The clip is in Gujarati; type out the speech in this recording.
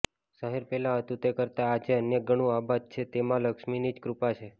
શહેર પહેલાં હતું તે કરતાં આજે અનેકગણું આબાદ છે તેમાં મા લક્ષ્મીની જ કૃપા છે